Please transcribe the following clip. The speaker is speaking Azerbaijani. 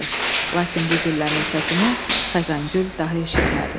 Lakin bu güllənin səsini Xəzangül daha eşitmədi.